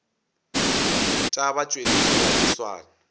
tša batšweletši ga di swane